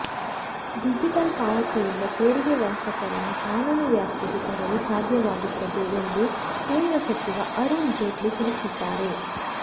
digital ಪಾವತಿಯಿಂದ ತೆರಿಗೆ ವಂಚಕರನ್ನು ಕಾನೂನು ವ್ಯಾಪ್ತಿಗೆ ತರಲು ಸಾಧ್ಯವಾಗುತ್ತದೆ ಎಂದು ಕೇಂದ್ರ ಸಚಿವ ಅರುಣ್ ಜೇಟ್ಲಿ ತಿಳಿಸಿದ್ದಾರೆ